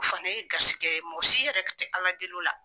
U fana ye garisɛgɛ ye. Mɔgɔsi yɛrɛ te ala deli o la.